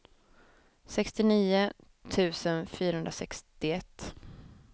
sextionio tusen fyrahundrasextioett